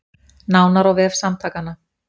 Nánar á vef samtakanna